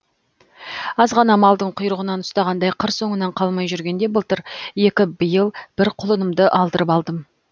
аз ғана малдың құйрығынан ұстағандай қыр соңынан қалмай жүргенде былтыр екі биыл бір құлынымды алдырып алдым